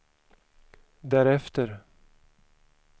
därefter